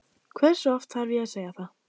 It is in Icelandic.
Hversu oft þarf ég að segja það?